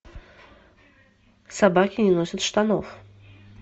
собаки не носят штанов